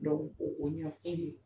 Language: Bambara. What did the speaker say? Dɔw o o ɲɔn e de